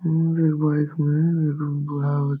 हम्म एक बाइक में एक बूढ़ा आवत --